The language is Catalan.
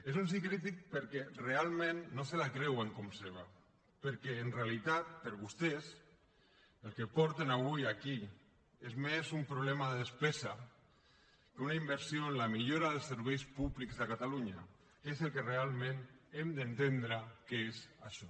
és un sí crític perquè realment no se la creuen com a seva perquè en realitat per a vostès el que porten avui aquí és més un problema de despesa que una inversió en la millora dels serveis públics de catalunya que és el que realment hem d’entendre que és això